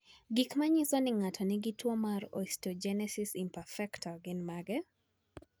Gik manyiso ni ng'ato nigi tuwo mar osteogenesis imperfecta gin mage?